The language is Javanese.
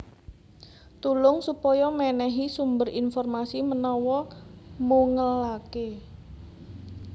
Tulung supaya mènèhi sumber informasi menawa mungelaké